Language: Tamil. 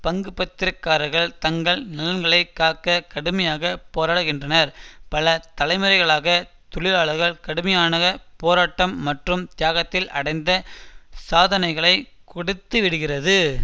பங்குப்பத்திரக்காரர்கள் தங்கள் நலன்களை காக்க கடுமையாக போராடுகின்றனர் பல தலைமுறைகளாக தொழிலாளர்கள் கடுமையான போராட்டம் மற்றும் தியாகத்தில் அடைந்த சாதனைகளை கொடுத்து விடுகிறது